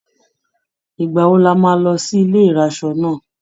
Ìgbà wo la máa lọ sí ilé ìraṣọ náà?